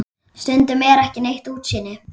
Stundum er ekki neitt útsýni!